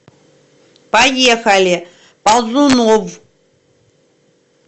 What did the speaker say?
поехали ползуновъ